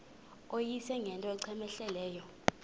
uyise ngento cmehleleyo